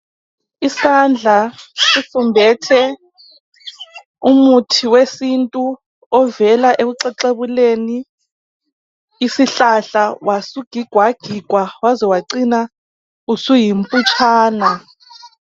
Isandla sifumbethe umuthi wesintu ovela ekuxexebukeni isihlahla wasugigwagigwa waze wacina usuyimohitshana.